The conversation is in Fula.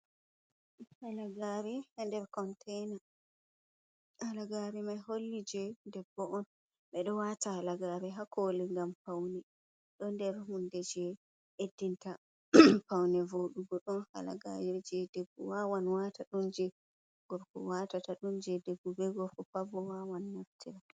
Halagare nder containa, halagari mai holli je debbo on bedo wata halagari ha koli gam paune do nder hunde je beddinta paune vodugo don halagajo je debbo wawan wata dum je gorko watata dum je debbo be gorko pabo wawan naftira.